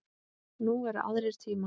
Nú eru aðrir tímar.